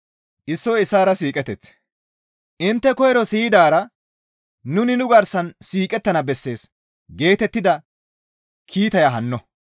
Intte koyro siyidaara, «Nuni nu garsan siiqettana bessees» geetettida kiitaya hanno.